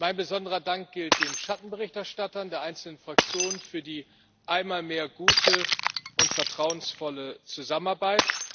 Mein besonderer Dank gilt den Schattenberichterstattern der einzelnen Fraktionen für die einmal mehr gute und vertrauensvolle Zusammenarbeit.